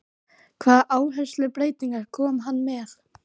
Hvaða áherslubreytingar kom hann með?